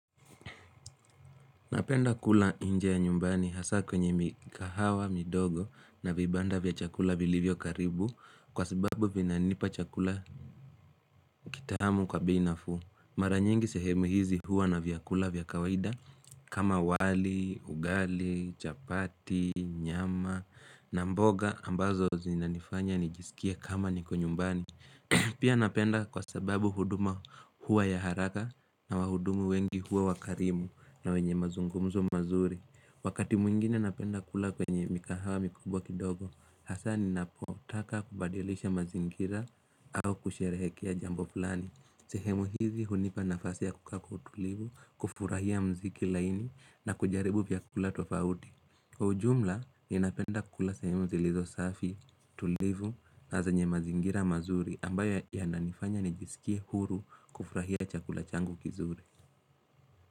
Napenda kula nje ya nyumbani hasaa kwenye mikahawa, midogo na vibanda vya chakula vilivyo karibu kwa sababu vinanipa chakula kitamu kwa bei nafuu. Maranyingi sehemu hizi huwa na vyakula vya kawaida kama wali, ugali, chapati, nyama na mboga ambazo zinanifanya nijisikie kama niko nyumbani. Pia napenda kwa sababu huduma huwa ya haraka na wahudumu wengi huwa wakarimu na wenye mazungumzo mazuri. Wakati mwingine napenda kula kwenye mikahawa mikubwa kidogo Hasaa ninapotaka kubadilisha mazingira au kusherehekea jambo fulani. Sehemu hizi hunipa nafasi ya kukaa kwa utulivu, kufurahia mziki laini na kujaribu vyakula tofauti Kwa ujumla, ninapenda kula sehemu zilizo safi, tulivu, na zenye mazingira mazuri ambayo yananifanya nijisikie huru kufurahia chakula changu kizuri.